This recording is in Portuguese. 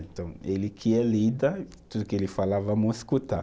Então, ele que é líder, tudo que ele falar, vamos escutar.